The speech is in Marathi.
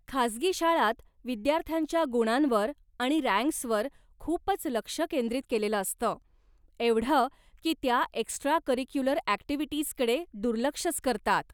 खासगी शाळांत विद्यार्थ्यांच्या गुणांवर आणि रँक्सवर खूपच लक्ष केंद्रित केलेलं असतं, एवढं की त्या एक्स्ट्रा करिक्युलर अॅक्टिव्हिटीजकडे दुर्लक्षच करतात.